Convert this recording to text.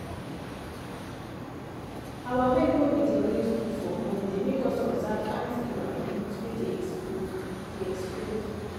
our wake wey we dey always do for morning dey make us observe ant hill and roots wey dey expose dey expose